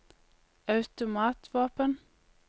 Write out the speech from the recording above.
automatvåpen